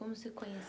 Como você conheceu?